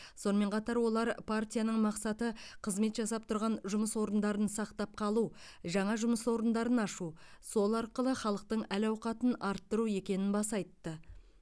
сонымен қатар олар партияның мақсаты қызмет жасап тұрған жұмыс орындарын сақтап қалу жаңа жұмыс орындарын ашу сол арқылы халықтың әл ауқатын арттыру екенін баса айтты